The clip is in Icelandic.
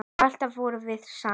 Alltaf vorum við saman.